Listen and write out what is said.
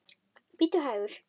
Bíddu hægur.